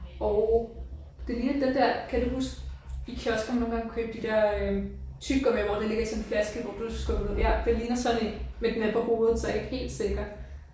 Og det ligner den der kan du huske i kiosker man nogle gange kunne købe de der øh tyggegummier hvor det ligger i sådan en flaske hvor du skubber det ud ja det ligner sådan en men den er på hovedet så jeg er ikke helt sikker